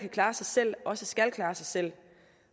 kan klare sig selv også skal klare sig selv